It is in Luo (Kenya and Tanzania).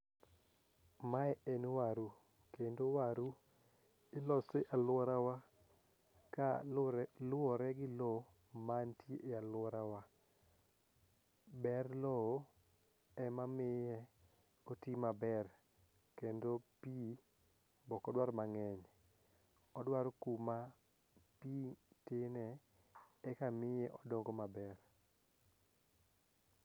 mae en waru kendo waru ilose aluorawa kaluwore gi lo mantie aluorawa ber lo ema miye oti maber kendo pi ok odwar mang'eny ,odwaro kuma pi tine eka miye odongo maber